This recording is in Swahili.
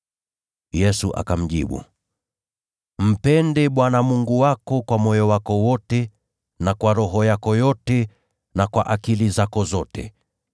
Yesu akamjibu, “ ‘Mpende Bwana Mungu wako kwa moyo wako wote na kwa roho yako yote na kwa akili zako zote.’